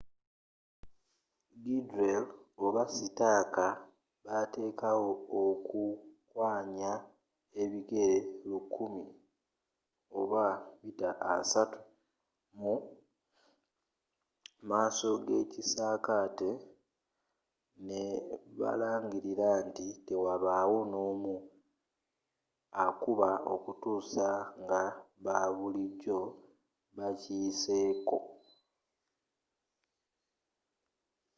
gridley oba sitaaka bateekawo okuwkanya ku bigere 100 30 m mumaaso gekisaakate nebalagira nti tewabawo nomu akuba okutuusa ngababulijjo bakiyiseeko